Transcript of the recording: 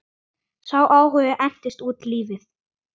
Sá áhugi entist út lífið.